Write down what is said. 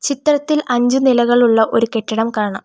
ചിത്രത്തിൽ അഞ്ച് നിലകളുള്ള ഒരു കെട്ടിടം കാണാം.